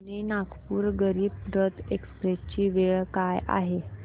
Pune Nagpur Garib Rath express ची वेळ काय आहे